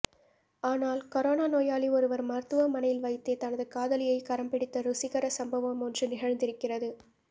ஆனால் கொரோனா நோயாளி ஒருவர் மருத்துவமனையில் வைத்தே தனது காதலியை கரம்பிடித்த ருசிகர சம்பவம் ஒன்று நிகழ்ந்திருக்கிறது